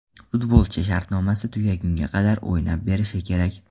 Futbolchi shartnomasi tugagunga qadar o‘ynab berishi kerak.